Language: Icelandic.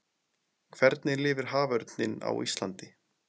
hvernig lifir haförninn á íslandi